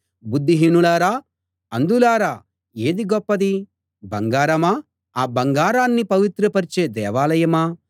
బుద్ధిహీనులారా అంధులారా ఏది గొప్పది బంగారమా ఆ బంగారాన్ని పవిత్రపరిచే దేవాలయమా